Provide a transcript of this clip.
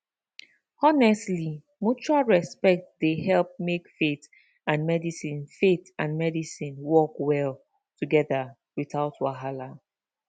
honestly mutual respect dey help make faith and medicine faith and medicine work well together without wahala